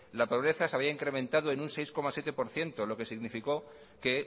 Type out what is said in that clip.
la pobreza se había incrementado en un seis coma siete por ciento lo que significó que